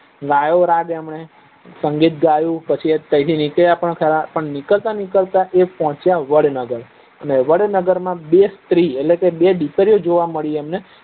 ગાયો રાગ એમને સગીત ગયું પછી તઈથી નીકળ્યા પણ ખરા પણ નીકળતા નીકળતા પહોચ્યા વડનગર માં અને વડનગર માં બે સ્ત્રી એટલે કે બે દીકરીઓ જોવા મળી એમને